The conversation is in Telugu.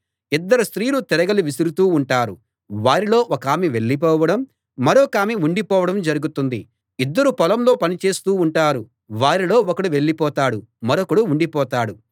ఇద్దరు స్త్రీలు తిరగలి విసరుతూ ఉంటారు వారిలో ఒకామె వెళ్ళిపోవడం మరొకామె ఉండిపోవడం జరుగుతుంది ఇద్దరు పొలంలో పని చేస్తూ ఉంటారు వారిలో ఒకడు వెళ్ళిపోతాడు మరొకడు ఉండిపోతాడు